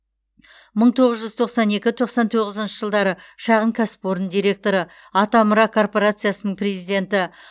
мың тоғыз жүз тоқсан екі тоқсан тоғызыншы жылдары шағын кәсіпорын директоры атамұра корпорациясының президенті